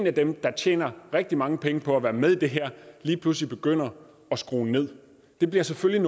af dem der tjener rigtig mange penge på at være med i det her lige pludselig begynder at skrue nederst det bliver selvfølgelig